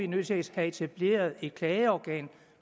nødt til at have etableret et klageorgan